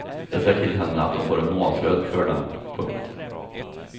Jag säger till henne att hon får en månadslön för dem. punkt